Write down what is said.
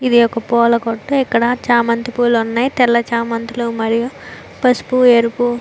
ఇది ఒక పులా కుంది ఇక్కడ చామంతి పుల్లు వున్నాయ్ తెల చమనతల్లు మరియు పసుపు ఎరుపు.